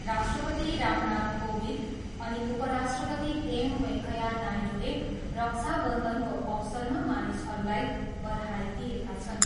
राष्ट्रपति रामनाथ कोविद अनि उपराष्ट्रपति एम. वेङ्कैया नायडूले रक्षा बन्धनको अवसरमा मानिसहरूलाई बधाई दिएका छन्।